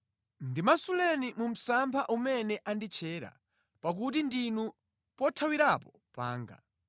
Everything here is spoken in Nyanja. Ndimasuleni mu msampha umene anditchera pakuti ndinu pothawirapo panga.